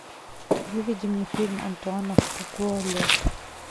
выведи мне фильм антуана фукуа лед